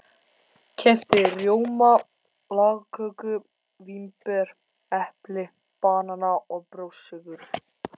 Keypti rjóma, lagköku, vínber, epli, banana og brjóstsykur.